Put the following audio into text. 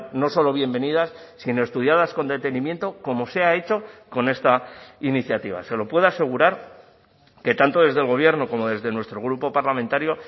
no solo bienvenidas sino estudiadas con detenimiento como se ha hecho con esta iniciativa se lo puedo asegurar que tanto desde el gobierno como desde nuestro grupo parlamentario